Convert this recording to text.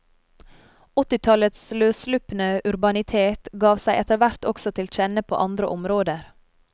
Åttitallets løsslupne urbanitet gav seg etter hvert også til kjenne på andre områder.